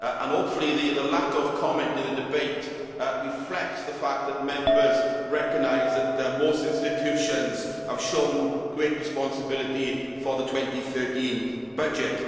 Hopefully, the lack of comment in the debate reflects the fact that Members recognise that most institutions have shown great responsibility for the 2013 budget.